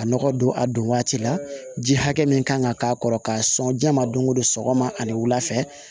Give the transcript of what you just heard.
A nɔgɔ don a don waati la ji hakɛ min kan ka k'a kɔrɔ k'a sɔn ja ma don o don sɔgɔma ani wula fɛ